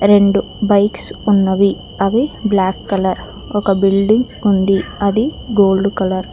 రెండు బైక్స్ ఉన్నవి అవి బ్లాక్ కలర్ ఒక బిల్డింగ్ ఉంది అది గోల్డ్ కలర్ .